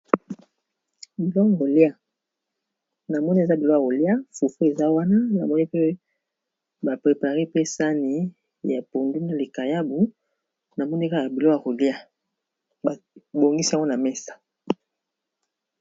na mone eza bilo a rolia fuffu eza wana na moni pe baprepare pesani ya pondina likayabu na moneka ya bilo ya rolia bongisa wana mesa